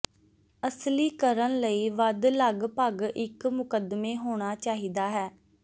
ਅਸਲੀ ਕਰਨ ਲਈ ਵੱਧ ਲਗਭਗ ਇੱਕ ਮੁਕੱਦਮੇ ਹੋਣਾ ਚਾਹੀਦਾ ਹੈ